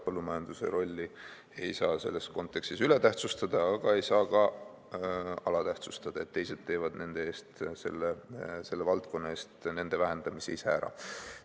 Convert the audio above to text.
Põllumajanduse rolli ei saa selles kontekstis üle tähtsustada, aga ei saa ka alatähtsustada, nii et teised teevad selle valdkonna eest vähendamise ära.